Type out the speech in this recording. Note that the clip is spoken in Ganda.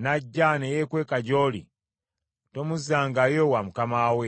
n’ajja ne yeekweka gy’oli, tomuzzangayo wa mukama we.